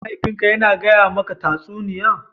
mahaifin ka Yana gaya maka tatsuniya?